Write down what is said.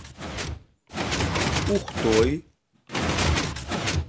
ухтой